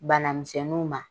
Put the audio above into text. Bana misɛnninw ma.